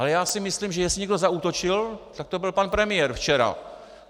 Ale já si myslím, že jestli někdo zaútočil, tak to byl pan premiér včera.